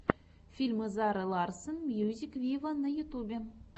фильм зары ларсон мьюзик виво на ютьюбе